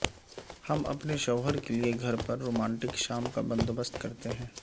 ہم اپنے شوہر کے لئے گھر پر رومانٹک شام کا بندوبست کرتے ہیں